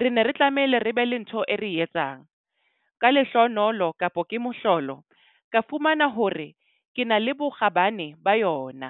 re ne re tlamehile re be le ntho e re etsang. Ka lehloonolo kapa ke mohlolo, ka fumana hore ke na le bokgabane ba yona.